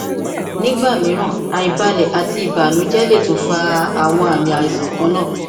nigba miiran aibalẹ ati ibanujẹ le tun fa awọn aami aisan kanna